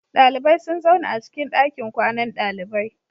Dalibai sun zauna acikin dakin kwanan dalibai.